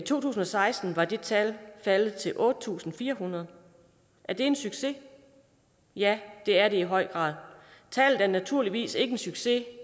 to tusind og seksten var det tal faldet til otte tusind fire hundrede er det en succes ja det er det i høj grad tallet er naturligvis ikke en succes